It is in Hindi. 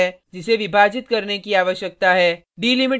दूसरा स्ट्रिंग है जिसे विभाजित करने की आवश्यकता है